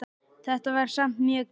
Þetta var samt mjög gaman.